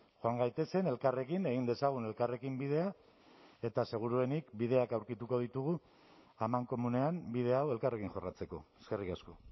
joan gaitezen elkarrekin egin dezagun elkarrekin bidea eta seguruenik bideak aurkituko ditugu amankomunean bide hau elkarrekin jorratzeko eskerrik asko